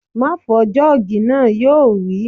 Má fọ jọ́ọ̀gì náà! Yóò wí